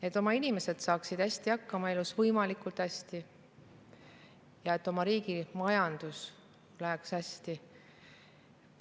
Et oma inimesed saaksid võimalikult hästi elus hakkama ja et oma riigi majandusel läheks hästi.